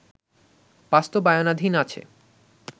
বাস্তবায়নাধীন আছে